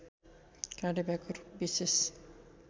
काँडे भ्याकुर विशेष